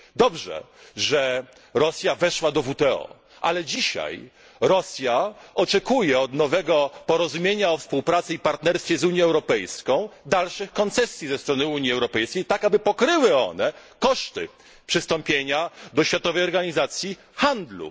Dobrze, że Rosja weszła do WTO, ale dzisiaj Rosja oczekuje od nowego porozumienia o współpracy i partnerstwie z Unią Europejską dalszych koncesji ze strony Unii Europejskiej, które pokryłyby koszty przystąpienia do Światowej Organizacji Handlu.